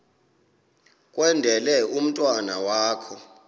kwendele umntwana wakho